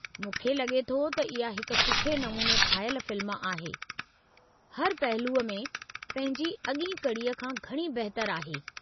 मूंखे लॻे थो त इहा हिक सुठे नमूने ठाहियल फ़िल्म आहे, हर पहलूअ में पंहिंजी अॻीं कड़ीअ खां घणी बहितरु आहे।